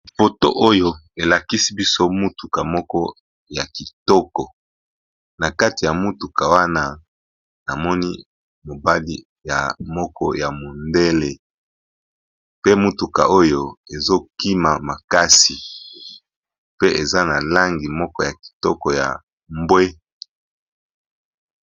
Foto oyo elakisi biso mutuka moko ya kitoko, na kati ya motuka wana namoni mobali ya moko ya mondele pe mutuka oyo ezo kima makasi pe eza na langi moko ya kitoko ya mbwe.